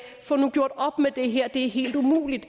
få nu gjort op med det her det er helt umuligt